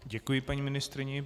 Děkuji paní ministryni.